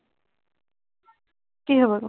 কি হব